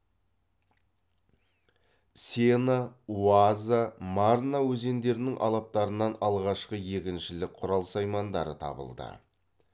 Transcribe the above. сена уаза марна өзендерінің алаптарынан алғашқы егіншілік құрал саймандары табылды